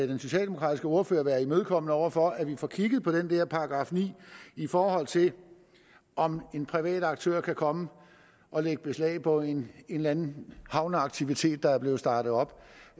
den socialdemokratiske ordfører være imødekommende over for at vi får kigget på den der § ni i forhold til om en privat aktør kan komme og lægge beslag på en eller anden havneaktivitet der er blevet startet op